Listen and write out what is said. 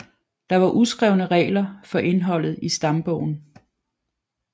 Der var uskrevne regler for indholdet i stambogen